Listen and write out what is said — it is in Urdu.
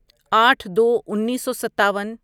آٹھ دو انیسو ستاون